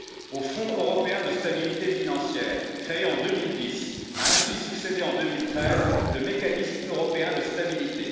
Au Fonds européen de stabilité financière, créé en 2010, a ainsi succédé en 2013, le mécanisme européen de stabilité.